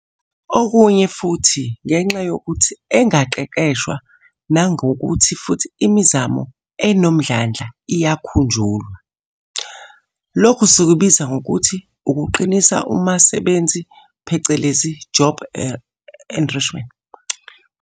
Okunye futhi ngenxa yokuthi engaqeqeshwa nangokuthi futhi imizamo enomdlandla iyakhunjulwa- Lokhu sikubiza ngokuthi ukuqinisa umasebenzi phecelezi job enrichment.